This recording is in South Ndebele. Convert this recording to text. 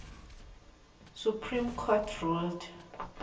supreme court ruled